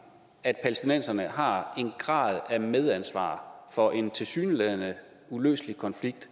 at palæstinenserne har en grad af medansvar for en tilsyneladende uløselig konflikt